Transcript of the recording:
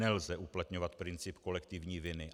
Nelze uplatňovat princip kolektivní viny.